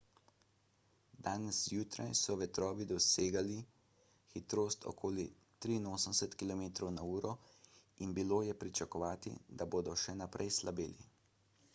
danes zjutraj so vetrovi dosegali hitrost okoli 83 km/h in bilo je pričakovati da bodo še naprej slabeli